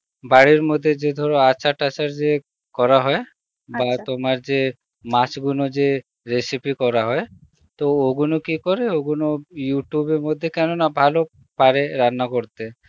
বাড়ির মধ্যে যে ধরো আচার-টাচার যে করা হয় তোমার যে মাছগুনো যে recepie করা হয় তো ওগুলো কি করে ওগুলো Youtube এর মধ্যে কেন না ভালো পারি রান্না করতে